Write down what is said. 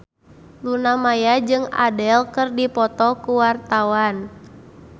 Luna Maya jeung Adele keur dipoto ku wartawan